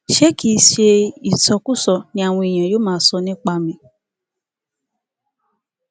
ṣé kì í ṣe ìsọkúsọ ni àwọn èèyàn yóò máa sọ nípa mi